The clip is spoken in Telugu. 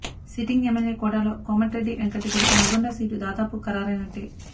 సిట్టింగ్ ఎమ్మెల్యే కోటాలో కోమటిరెడ్డి వెంకట్ రెడ్డికి నల్లగొండ సీటు దాదాపుగా ఖరారైనట్టే